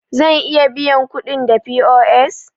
Zan iya biyan kuɗin da POS?